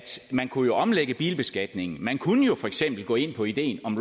man kunne omlægge bilbeskatningen man kunne for eksempel gå ind på ideen om